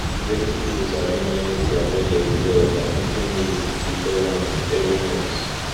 plenty people sabi manage their budget well by putting needs before wants every month